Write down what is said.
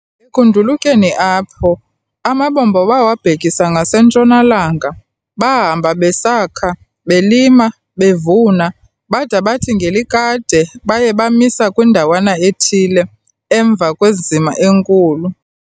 Ekundulukeni apho, amabombo bawabhekise ngasentshona-langa, bahamba besakha, belima, bevuna, bada bathi ngelikade baya bamisa kwindawana ethile, emva kwenzima enkulu.